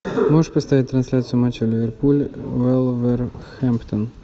можешь поставить трансляцию матча ливерпуль вулверхэмптон